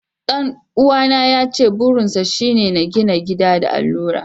Dan'uwana yace burinsa shi shi ne gina gida da allura.